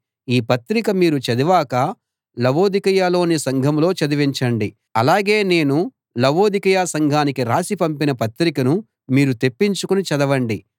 ఈ పత్రిక మీరు చదివాక లవొదికయలోని సంఘంలో చదివించండి అలాగే నేను లవొదికయ సంఘానికి రాసి పంపిన పత్రికను మీరు తెప్పించుకుని చదవండి